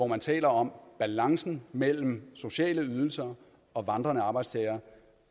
man taler om balancen mellem sociale ydelser og vandrende arbejdstagere